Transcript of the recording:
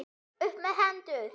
Upp með hendur!